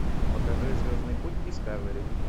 покажи звездный путь дискавери